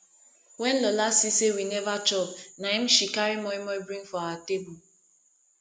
when lola see say we never chop na im she carry moimoi bring for our table